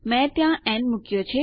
મેં ત્યાં ન મુક્યો